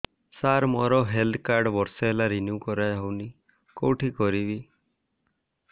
ସାର ମୋର health card ବର୍ଷେ ହେଲା ରିନିଓ କରା ହଉନି କଉଠି କରିବି